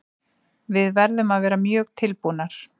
Við verðum að vera mjög tilbúnar.